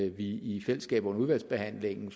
i fællesskab under udvalgsbehandlingen